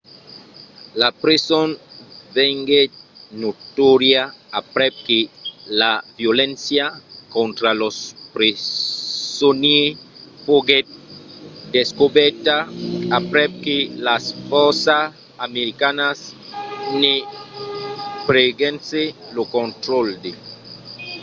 la preson venguèt notòria aprèp que la violéncia contra los presonièrs foguèt descobèrta aprèp que las fòrças americanas ne prenguèssen lo contraròtle